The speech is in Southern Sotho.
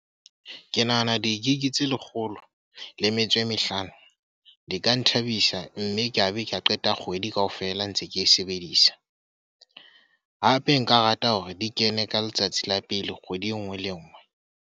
Ke nahana di-Gig tse lekgolo le metso e mehlano di ka nthabisa mme ke a be ka qeta kgwedi kaofela ntse ke e sebedisa. Hape nka rata hore di kene ka letsatsi la pele kgwedi e nngwe le e nngwe.